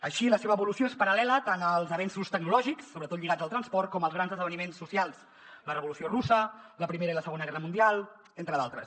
així la seva evolució és paral·lela tant als avenços tecnològics sobretot lligats al transport com als grans esdeveniments socials la revolució russa la primera i la segona guerra mundial entre d’altres